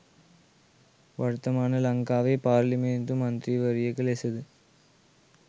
වර්තමාන ලංකාවේ පාර්ලිමේන්තු මන්ත්‍රීවරියක ලෙසද?